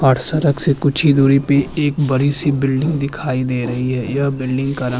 से कुछ ही दूरी पे एक बड़ी-सी बिल्डिंग दिखाई दे रही है यह बिल्डिंग का रंग --